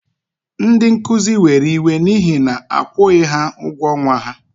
Ndị nkuzi were iwe n'ihi na-akwụghị ha ụgwọ ọnwa ha.